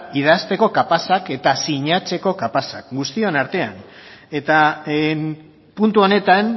idazteko kapazak eta sinatzeko kapazak guztion artean eta puntu honetan